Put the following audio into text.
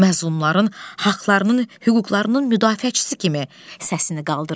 Məzlumların haqlarının, hüquqlarının müdafiəçisi kimi səsini qaldırır.